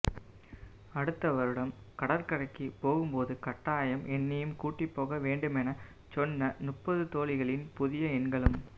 அடுத்த வருடம் கடற்கரைக்கு போகும்போது கட்டாயம் என்னையும் கூட்டிப்போக வேண்டுமெனச் சொன்ன முப்பது தோழிகளின் புதிய எண்களும்